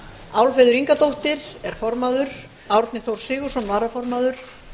álfheiður ingadóttir er formaður árni þór sigurðsson varaformaður